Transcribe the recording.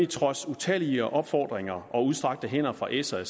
trods utallige opfordringer og udstrakte hænder fra s og